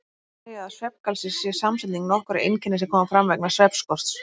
Því má segja að svefngalsi sé samsetning nokkurra einkenna sem koma fram vegna svefnskorts.